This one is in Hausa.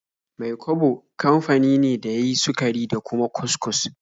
Mai-kwabo kafani ne da ya yin sukari da kuma kus-kus.